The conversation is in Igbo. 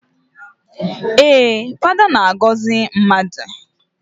Ee, Fada na-agọzị mmadụ.